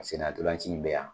Sena ntolanci in bɛ yan.